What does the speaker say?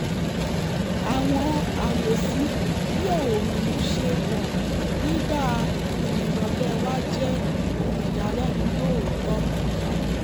àwọn àwòsí bí òòrùn ṣe wọ̀ nígbà ìrìn ìrọ̀lẹ̀ wa jẹ́ ohun ìyàlẹ́nu lóòótọ́